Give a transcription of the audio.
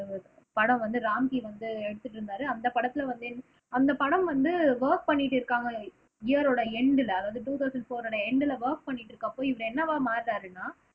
படம் வந்து ராம்கி வந்து எடுத்துட்டு இருந்தாரு அந்த படத்துல வந்து அந்த படம் வந்து வொர்க் பண்ணிட்டு இருக்காங்க இயரோட எண்டுல அதாவது டூ தவ்சன் ப்ஹோரோட எண்டுல வொர்க் பண்ணிட்டு இருக்குறப்போ இவரு என்னவா மாறுனாருன்னா